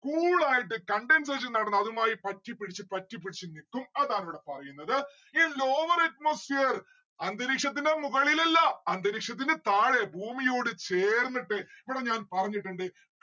cool ആയിട്ട് condensation നടന്ന് അതുമായി പറ്റിപ്പിടിച്ച് പറ്റിപ്പിടിച്ച് നിക്കും. അതാണിവിടെ പറയുന്നത്. ഇനി lowwer atmosphere അന്തരീക്ഷത്തിന്റെ മുകളിലല്ലാ അന്തരീക്ഷത്തിന്റെ താഴെ ഭൂമിയോട് ചേർന്നിട്ട്